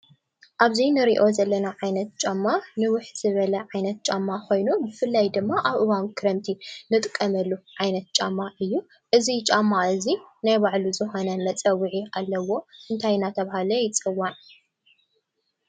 አብዚ ንሪኦ ዘለና ዓይነት ጫማ ንውሕ ዝበለ ዓይነት ጫማ ኾይኑ ብፍላይ ድም አብ እዋን ክረምቲ ንጥቀመሉ ዓይነት ጫማ እዩ ።እዚ ጫማ እዚ ናይ በዕሉ ዝኾነ መፀውዒ አለዎ እንታይ እናተባህለ ይፀዋዕ?